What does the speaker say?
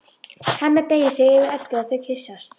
Hemmi beygir sig yfir Eddu og þau kyssast.